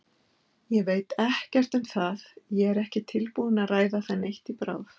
Ég veit ekkert um það, ég er ekki tilbúinn að ræða það neitt í bráð.